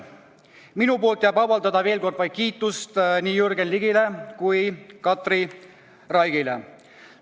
Minu poolt jääb üle avaldada veel kord vaid kiitust nii Jürgen Ligile kui ka Katri Raigile.